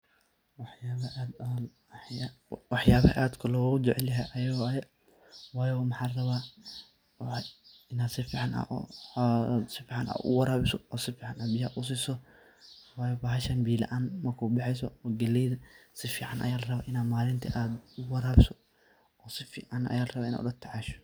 Waxyabaha aadka lagu jaceelyhay waayo waxan rabah Ina sufacan u warabisoh, oo sufican biyaha u sesoh waayo bahashan biya laan makubaxeeysoh kaleyda sifcan Aya la rabah in malinti AA u warabisoh, sufacan ayrabah Ina ula tacashoo.